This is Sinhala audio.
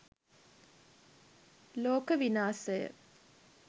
loka winasaya